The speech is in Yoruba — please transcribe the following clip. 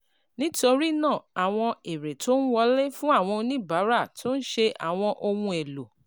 Nítorí náà, àwọn èrè tó ń wọlé fún àwọn oníbàárà tó ń ṣe àwọn ohun èlò